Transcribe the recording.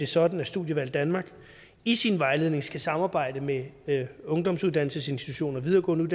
sådan at studievalg danmark i sin vejledning skal samarbejde med ungdomsuddannelsesinstitutioner videregående